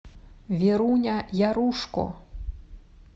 веруня ярушко